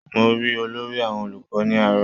Mo rí olórí olùkọ́ ní àárọ̀